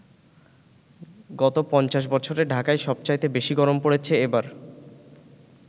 গত ৫০ বছরে ঢাকায় সবচাইতে বেশি গরম পড়েছে এবার।